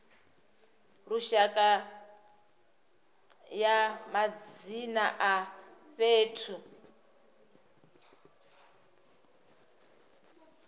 lushaka ya madzina a fhethu